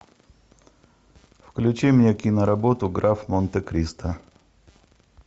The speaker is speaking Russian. включи мне киноработу граф монте кристо